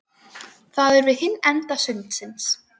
Það er við hinn enda sundsins.